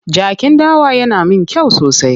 Jakin dawa yana min kyau sosai.